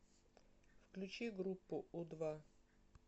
включи группу у два